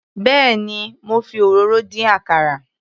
Béèni mo fi òróró dín àkàrà.